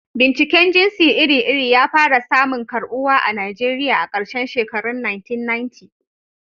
Binciken jinsi iri-iri ya fara samun karɓuwa a Najeriya a karshen shekarun 1990.